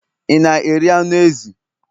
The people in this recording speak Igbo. ị na-eri anụ ezi?